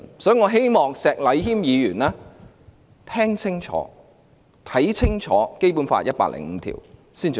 所以，我希望石禮謙議員聽清楚、看清楚《基本法》第一百零五條才發言。